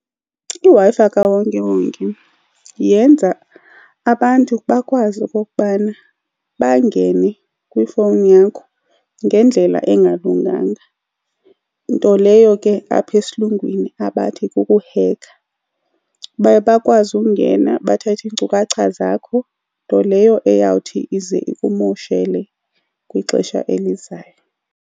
IWi-Fi kawonkewonke yenza abantu bakwazi okokubana bangene kwifowuni yakho ngendlela engalunganga. Nto leyo ke apha esilungwini abathi kukuhekha. Baye bakwazi ukungena bathathe iinkcukacha zakho, nto leyo eyawuthi ize ikumoshele kwixesha elizayo.